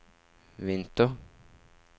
vinter